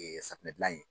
safunɛ gilan ye